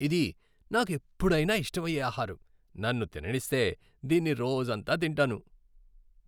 ఇది నాకెప్పుడైనా ఇష్టమయ్యే ఆహారం, నన్ను తిననిస్తే, దీన్ని రోజంతా తింటాను.